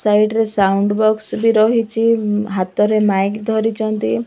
Side ରେ sound box ବି ରହିଚି ହାତରେ ମାଇକି ଧରିଚନ୍ତି।